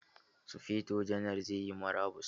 Sufeto janar zai yi murabus.